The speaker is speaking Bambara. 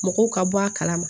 Mɔgɔw ka bɔ a kalama